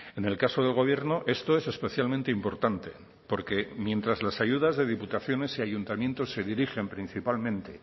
en el caso del gobierno esto es especialmente importante porque mientras las ayudas de diputaciones y ayuntamientos se dirigen principalmente